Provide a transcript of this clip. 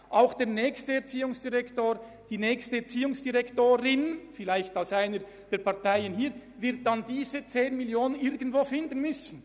Auch der nächste Erziehungsdirektor beziehungsweise die nächste Erziehungsdirektorin, die vielleicht einer der Parteien auf der linken Seite angehören wird, wird diese 10 Mio. Franken irgendwo finden müssen.